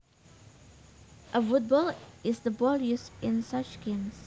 A football is the ball used in such games